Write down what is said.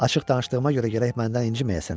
Açıq danışdığıma görə gərək məndən inciməyəsən.